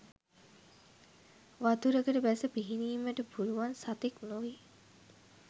වතුරකට බැස පිහිනීමට පුළුවන් සතෙක් නොවේ.